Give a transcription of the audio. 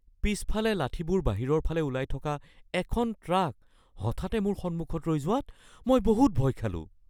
পিছফালে লাঠিবোৰ বাহিৰৰ ফালে ওলাই থকা এখন ট্ৰাক হঠাতে মোৰ সন্মুখত ৰৈ যোৱাত মই বহুত ভয় খালোঁ।